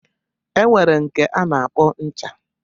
E nwere nke a na-akpọ ncha.